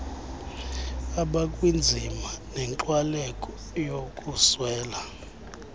abakwinzima nenkxwaleko yokuswela